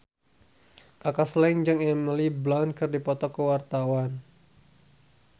Kaka Slank jeung Emily Blunt keur dipoto ku wartawan